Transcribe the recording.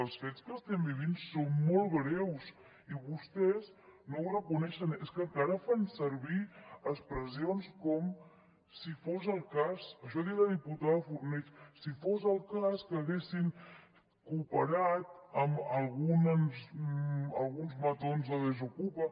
els fets que estem vivint són molt greus i vostès no ho reconeixen és que encara fan servir expressions com si fos el cas això ha dit la diputada fornells si fos el cas que haguessin cooperat amb alguns matons de desokupa